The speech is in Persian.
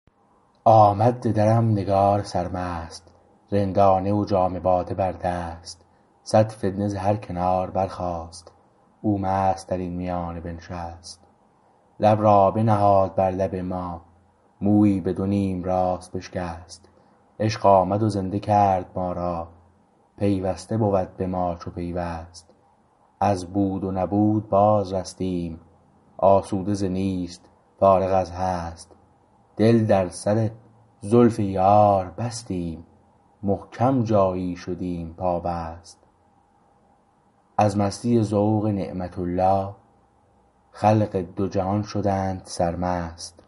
آمد ز درم نگار سرمست رندانه و جام باده بر دست صد فتنه ز هر کنار برخاست او مست در این میانه بنشست لب را بنهاد بر لب ما مویی به دونیم راست بشکست عشق آمد و زنده کرد ما را پیوسته بود به ما چو پیوست از بود و نبود باز رستیم آسوده ز نیست فارغ از هست دل در سر زلف یار بستیم محکم جایی شدیم پابست از مستی ذوق نعمت الله خلق دو جهان شدند سرمست